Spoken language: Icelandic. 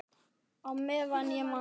Á meðan ég man.